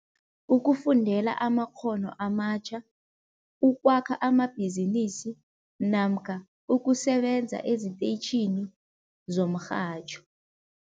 Ukufundela amakghono amatjha, ukwakha amabhizinisi namkha ukusebenza eziteyitjhini zomrhatjho.